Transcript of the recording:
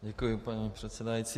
Děkuji, paní předsedající.